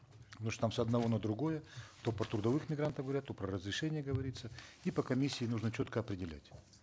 там с одного на другое то про трудовых мигрантов говорят то про разрешение говорится и по комиссии нужно четко определять